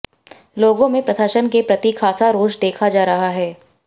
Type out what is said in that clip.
लोगों में प्रशासन के प्रति खासा रोष देखा जा रहा है